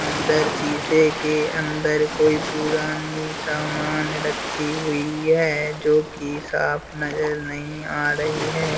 अंदर शीशे के अंदर कोई पुरानी सामान रखी हुई है जो कि साफ नजर नहीं आ रही है।